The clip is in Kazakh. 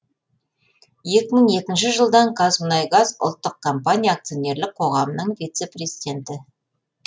екі мың екінші жылдан қазмұнайгаз ұлттық компания акционерлік қоғамның вице президенті